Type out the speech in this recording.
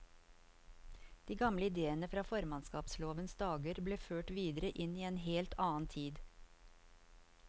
De gamle idéene fra formannskapslovens dager ble ført videre inn i en helt annen tid.